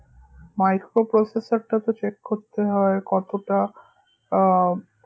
micro processor টা তো check করতে হয়, কতটা আহ